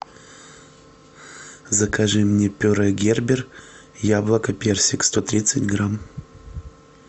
закажи мне пюре гербер яблоко персик сто тридцать грамм